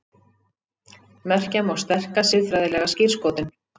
Merkja má sterka siðfræðilega skírskotun.